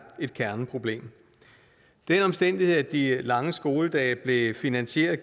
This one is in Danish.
et kerneproblem den omstændighed at de lange skoledage blev finansieret